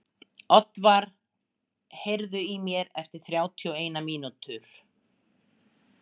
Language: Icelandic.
Oddvar, heyrðu í mér eftir þrjátíu og eina mínútur.